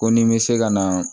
Ko ni bɛ se ka na